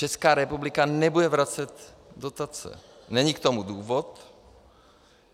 Česká republika nebude vracet dotace, není k tomu důvod.